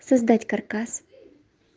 создать каркас